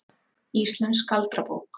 Íslensk galdrabók.